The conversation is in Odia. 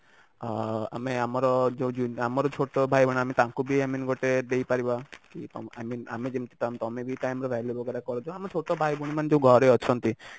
ଆଁ ଆମେ ଆମର ଯୋଉ ଛୋଟ ଭାଇ ଭଉଣୀ ମାନେ ତାଙ୍କୁ ବି i mean ଗୋଟେ ଦେଇ ପାରିବା କି କଣ ଆମେ ଯେମିତି time ତମେ ବି time ର value ୱାଗେର କରୁଥିବ ଆମ ଛୋଟ ଭାଇ ଭଉଣୀ ମାନେ ଯୋଉ ଘରେ ଅଛନ୍ତି